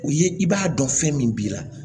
O ye i b'a dɔn fɛn min b'i la